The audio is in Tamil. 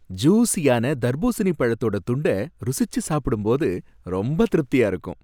ஜூஸியான தர்பூசணி பழத்தோட துண்ட ருசிச்சு சாப்பிடும்போது ரொம்ப திருப்தியா இருக்கும்.